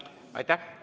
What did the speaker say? Aitäh!